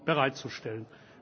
bereitzustellen.